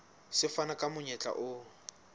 se fana ka monyetla o